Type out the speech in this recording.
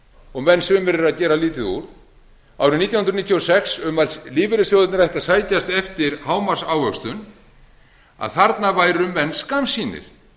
og menn sumir eru að gera lítið úr árið nítján hundruð níutíu og sex um að lífeyrissjóðirnir ættu að sækjast eftir hámarksávöxtun að þarna væru menn skammsýnir